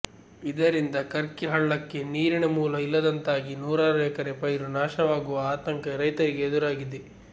ಇದರಿಂದ ಕರ್ಕಿ ಹಳ್ಳಕ್ಕೆ ನೀರಿನ ಮೂಲ ಇಲ್ಲದಂತಾಗಿ ನೂರಾರು ಎಕರೆ ಪೈರು ನಾಶವಾಗುವ ಆತಂಕ ರೈತರಿಗೆ ಎದುರಾಗಿದೆ